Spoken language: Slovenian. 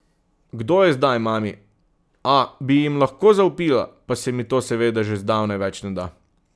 Kdo je zdaj mami, a, bi jim lahko zavpila, pa se mi to seveda že zdavnaj več ne da.